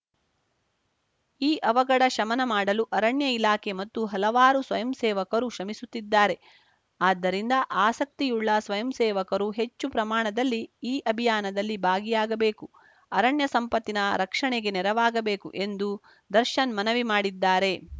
ಈ ಅವಘಡ ಶಮನ ಮಾಡಲು ಅರಣ್ಯ ಇಲಾಖೆ ಮತ್ತು ಹಲವಾರು ಸ್ವಯಂಸೇವಕರು ಶ್ರಮಿಸುತ್ತಿದ್ದಾರೆ ಆದ್ದರಿಂದ ಆಸಕ್ತಿಯುಳ್ಳ ಸ್ವಯಂಸೇವಕರು ಹೆಚ್ಚು ಪ್ರಮಾಣದಲ್ಲಿ ಈ ಅಭಿಯಾನದಲ್ಲಿ ಭಾಗಿಯಾಗಬೇಕು ಅರಣ್ಯ ಸಂಪತ್ತಿನ ರಕ್ಷಣೆಗೆ ನೆರವಾಗಬೇಕು ಎಂದು ದರ್ಶನ್‌ ಮನವಿ ಮಾಡಿದ್ದಾರೆ